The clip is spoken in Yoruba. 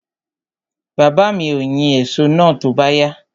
Baba mi ó yín èso náà tó bá yá.